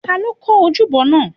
ta ni ó kọ́ ojúbọ náà?